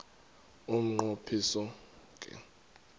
umnqo phiso ke